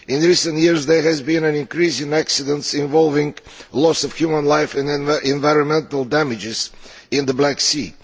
In recent years, there has been an increase in accidents involving loss of human life and environmental damage in the Black Sea.